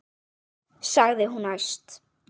sagði hún æst.